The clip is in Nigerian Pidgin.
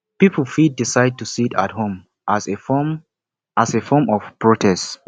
pipo fit decide to sit at home as a form as a form of protest